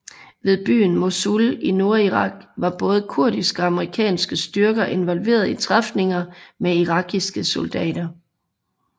Ved byen Mosul i nordirak var både kurdiske og amerikanske styrker involveret i træfninger med irakiske soldater